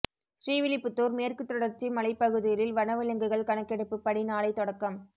ஸ்ரீவில்லிபுத்தூர் மேற்குத் தொடர்ச்சி மலைப்பகுதிகளில் வனவிலங்குகள் கணக்கெடுப்பு பணி நாளை தொடக்கம்